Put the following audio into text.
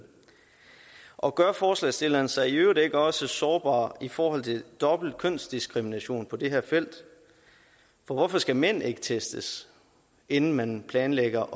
og gør forslagsstillerne sig i øvrigt ikke også sårbare i forhold til dobbelt kønsdiskrimination på det her felt for hvorfor skal mænd ikke testes inden man planlægger